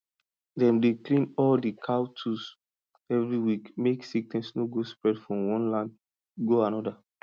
dem dey clean all di cow tools every week mek sickness no go spread from one land go another